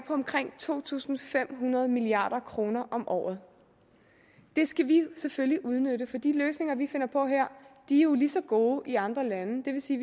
omkring to tusind fem hundrede milliard kroner om året det skal vi selvfølgelig udnytte for de løsninger vi finder på her er jo lige så gode i andre lande det vil sige